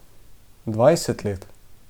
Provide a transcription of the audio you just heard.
Dvajset let.